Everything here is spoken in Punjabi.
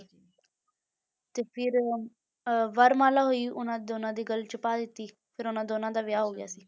ਤੇ ਫਿਰ ਅਹ ਵਰਮਾਲਾ ਹੋਈ ਉਹਨਾਂ ਦੋਨਾਂ ਦੀ ਗੱਲ ਵਿੱਚ ਪਾ ਦਿੱਤੀ ਫਿਰ ਉਹਨਾਂ ਦੋਨਾਂ ਦਾ ਵਿਆਹ ਹੋ ਗਿਆ ਸੀ,